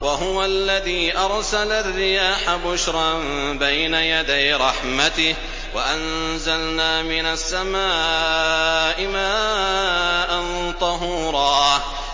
وَهُوَ الَّذِي أَرْسَلَ الرِّيَاحَ بُشْرًا بَيْنَ يَدَيْ رَحْمَتِهِ ۚ وَأَنزَلْنَا مِنَ السَّمَاءِ مَاءً طَهُورًا